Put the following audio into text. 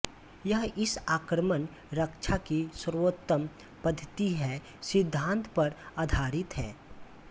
यह इस आक्रमण रक्षा की सर्वोत्तम पद्धति है सिद्धांत पर आधारित है